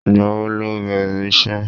Ìgbà wo lo bẹ̀rẹ̀ iṣẹ́?